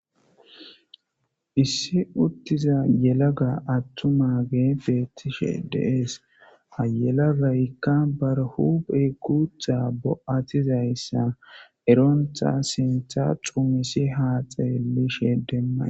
Issiuttiza yelaga attuma getetize de'es. Ha yelagayka ba huphe guutha bo'atizaysa eronta sintha xumisi has xelishe dees.